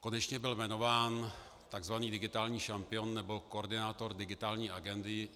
Konečně byl jmenován tzv. digitální šampion nebo koordinátor digitální agendy.